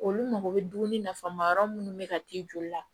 Olu mago bɛ dumuni nafama yɔrɔ munnu bɛ ka t'i joli la